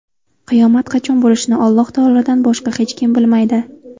Qiyomat qachon bo‘lishini Alloh taolodan boshqa hech kim bilmaydi.